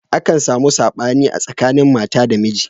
Akan samu saɓani a tsakanin mata da miji.